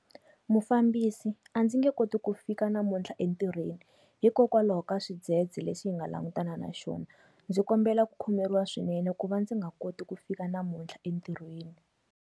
Mufambisi, a ndzi nge koti ku fika namuntlha entirhweni hikokwalaho ka xidzedze lexi nga langutana na xona. Ndzi kombela ku khomeriwa swinene ku va ndzi nga koti ku fika namuntlha entirhweni.